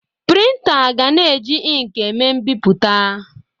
Prịntà ga-na eji inkị eme mbipụta.